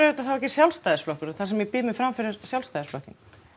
þetta þá ekki Sjálfstæðisflokkurinn þar sem ég býð mig fram fyrir Sjálfstæðisflokkinn